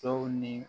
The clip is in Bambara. Dɔw ni